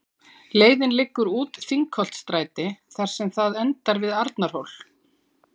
Leiðin liggur út Þingholtsstræti þar sem það endar við Arnarhól.